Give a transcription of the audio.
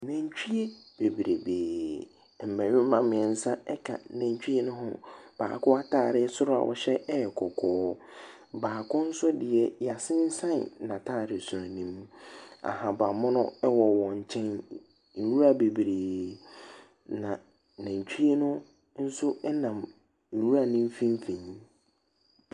Nantwie bebrebee. Mmɛrima mmiɛnsa ɛka nantwie no ho. Baako ataade, soro a ɔhyɛ ɛyɛ kɔkɔɔ. Baako nso deɛ yasensɛn n'ataade su ne mu. Ahabanmono ɛwɔ wɔn nkyɛn. Nwura bebree. Na nantwie no nso ɛnam nwura no mfimfini.